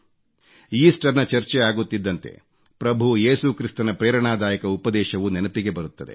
Easter ನ ಚರ್ಚೆ ಆಗುತ್ತಿದ್ದಂತೆ ಪ್ರಭು ಏಸು ಕ್ರಿಸ್ತನ ಪ್ರೇರಣಾದಾಯಕ ಉಪದೇಶವು ನೆನಪಿಗೆ ಬರುತ್ತದೆ